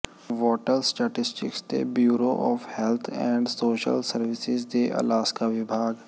wattle statistics ਦੇ bureau of health and social services ਦੇ Alaska ਵਿਭਾਗ